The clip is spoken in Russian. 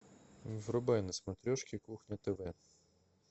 врубай на смотрешке кухня тв